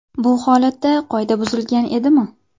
Bu holatda qoida buzilgan edimi?